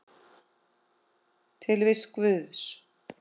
Tilvist Guðs